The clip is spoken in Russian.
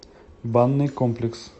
банный комплекс